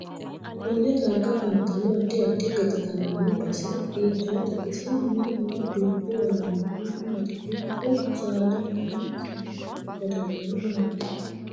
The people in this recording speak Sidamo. Konne darga afantanno addi addi gaxigalla noo base hiitoote ise mule noo dubbi aano horo maati dubbu saada mini saadawiini badanori maati